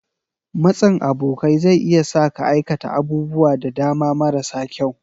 Matsin abokai zai iya sa ka aikata abubuwa da dama marasa kyau.